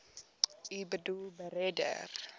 u boedel beredder